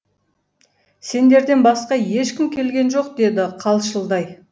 сендерден басқа ешкім келген жоқ деді қалшылдай